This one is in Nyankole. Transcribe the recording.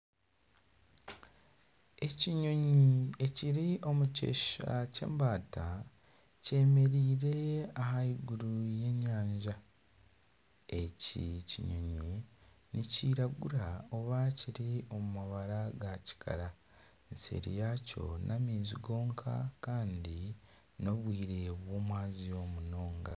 Ekinyonyi ekiri omu kyeshusha ky'embaata kyemereire aha eiguru ya enyanja, eki ekinyonyi nikyiragura oba kiri omu mabara ga kikara nseeri yakyo n'amaizi goona kandi n'obwire bw'omwazyo munonga.